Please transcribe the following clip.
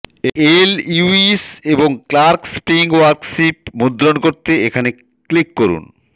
এই Lewis এবং Clark spelling worksheet মুদ্রণ করতে এখানে ক্লিক করুন